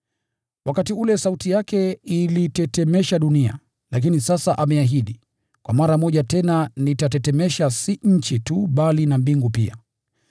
Wakati ule sauti yake ilitetemesha dunia, lakini sasa ameahidi, “Kwa mara moja tena nitatetemesha si nchi tu bali na mbingu pia.”